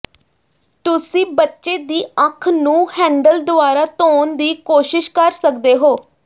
ਤੁਸੀਂ ਬੱਚੇ ਦੀ ਅੱਖ ਨੂੰ ਹੈਂਡਲ ਦੁਆਰਾ ਧੋਣ ਦੀ ਕੋਸ਼ਿਸ਼ ਕਰ ਸਕਦੇ ਹੋ